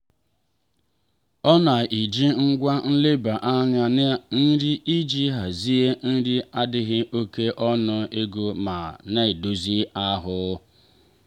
ọ na-eji ngwa nleba anya na nri iji hazie nri n'adighi oke ọnụ ego ma na-edozi ahụ.